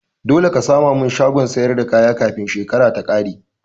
Dole ka sama min shagon siyar da kaya kafin shekaran ta kare